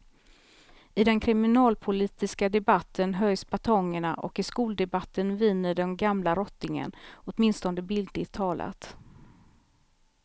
I den kriminalpolitiska debatten höjs batongerna och i skoldebatten viner den gamla rottingen, åtminstone bildligt talat.